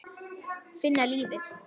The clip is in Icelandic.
Finna lífið.